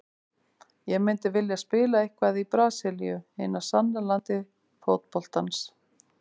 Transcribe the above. Ég myndi vilja spila eitthvað í Brasilíu, hinu sanna landi fótboltans.